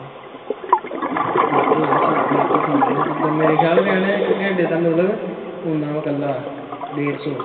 ਫੇਰ ਤੇ ਯਾਰ ਸਹੀ ਫਿਰ ਤੇ ਠੀਕਾ ਜਿੱਦਾ ਮੇਰੇ ਖਿਆਲ ਕਹਿਣ ਦਿਆ ਇੱਕ ਘੰਟੇ ਦਾ ਮਤਲਬ ਉਹਨਾਂ ਵੇ ਕੱਲਾ ਡੇਡ ਸੋ।